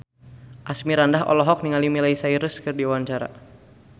Asmirandah olohok ningali Miley Cyrus keur diwawancara